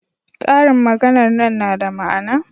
ƙarin maganar nan na da ma'ana